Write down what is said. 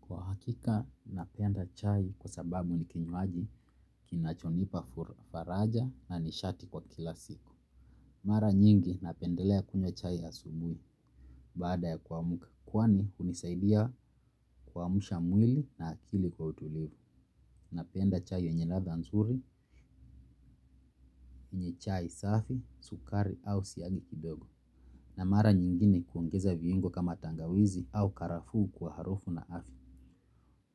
Kwa hakika napenda chai kwa sababu ni kinywaji kinachonipa faraja na ni sharti kwa kila siku. Mara nyingi napendelea kunywa chai asubuhi baada ya kuamuka. Kwani hunisaidia kuamsha mwili na akili kwa utulivu. Napenda chai yenye ladha nzuri, yenye chai safi, sukari au siagi kidogo. Na mara nyingine kuongeza viungo kama tangawizi au karafuu kwa harufu na afya.